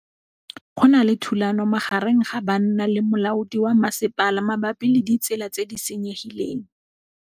Go na le thulanô magareng ga banna le molaodi wa masepala mabapi le ditsela tse di senyegileng.